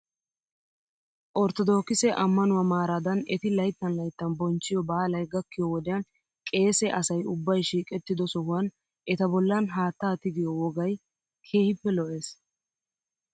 Ortodookise amanuwaa maaraadan eti layttan layttan bonchchiyoo baalay gakkiyoo wodiyan qeesee asay ubbay shiiqettido sohuwan eta bollan haataa tigiyo wogay keehippe lo'ees.